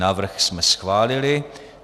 Návrh jsme schválili.